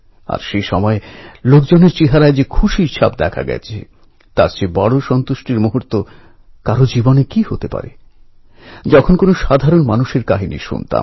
এটা কোনও সামান্য কথা নয় লোকমান্য তিলক এবং আমেদাবাদে তাঁর যে মূর্তি রয়েছে তা নিয়ে এক বিশেষ ঘটনার কথা আপনাদের আমি বলছি